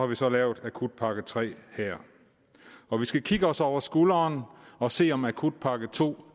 vi så lavet akutpakke tre her når vi skal kigge os over skulderen og se om akutpakke to